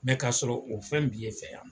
k'a sɔrɔ o fɛn b'i e fɛ yan.